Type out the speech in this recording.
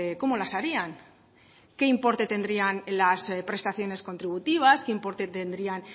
cómo las harían qué importe tendrían las prestaciones contributivas qué importe tendrían